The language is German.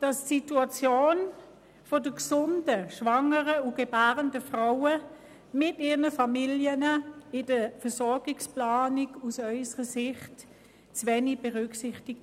Die Situation der gesunden schwangeren und gebärenden Frauen mit ihren Familien werden in der Versorgungsplanung zu wenig berücksichtigt.